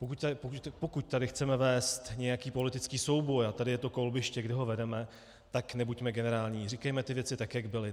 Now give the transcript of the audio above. Pokud tady chceme vést nějaký politický soubor a tady je to kolbiště, kde ho vedeme, tak nebuďme generální, říkejme ty věci tak, jak byly.